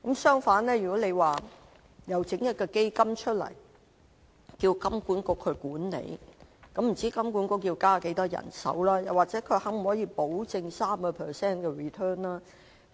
相反，蔣議員說設立一個基金，由金管局管理，不知道金管局要增加多少人手，又可否保證有 3% return？